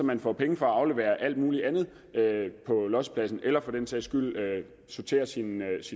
man får penge for at aflevere alt mulig andet på lossepladsen eller for den sags skyld ved at sortere sit